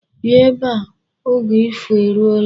Bịa ebe a. Oge ifo eruola.